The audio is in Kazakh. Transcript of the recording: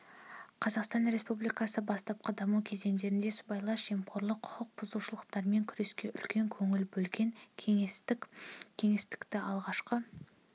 қазақстан республикасы бастапқы даму кезеңдерінде сыбайлас жемқорлық құқық бұзушылықтармен күреске үлкен көңіл бөлген кеңестік кеңістіктегі алғашқы